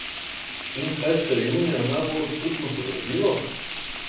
In kaj se je junija najbolj občutno podražilo?